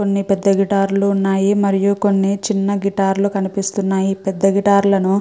కొన్ని పెద్ద గిటార్ లు కొన్ని చిన్న గిటార్లు కనిపిస్తున్నాయు. పెద్ద గిటార్ లను--